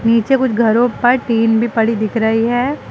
नीचे कुछ घरों पर टीन भी पड़ी दिख रही है।